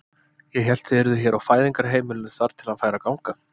Ég hélt þið yrðuð hér á Fæðingarheimilinu þar til hann færi að ganga.